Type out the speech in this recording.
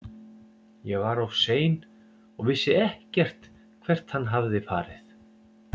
Ég var of sein og vissi ekkert hvert hann hafði farið.